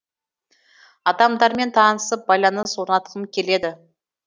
адамдармен танысып байланыс орнатқым келеді